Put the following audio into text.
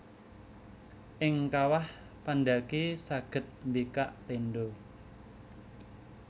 Ing kawah pandhaki saged mbikak téndha